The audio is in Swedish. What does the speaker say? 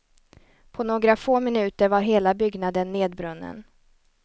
På några få minuter var hela byggnaden nedbrunnen.